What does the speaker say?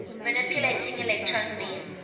manipulating electron beams